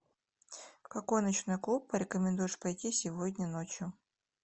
в какой ночной клуб порекомендуешь пойти сегодня ночью